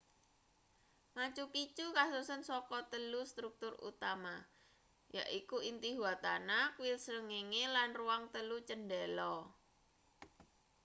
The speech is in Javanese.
machu picchu kasusun saka telu struktur utama yaiku intihuatana kuil srengenge lan ruang telu cendela